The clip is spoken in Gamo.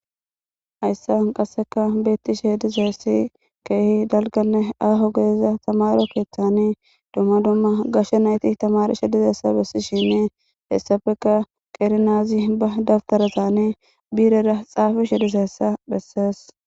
Hayisan qaseka betishin deizay kehi daliganne aho gidiza tamaro keeththani dumma dumma gashe nayiti tamarishe dizatisa besisheni atappeka qeri na'azi ba tafitarazani birera xafishe dizayisa beses.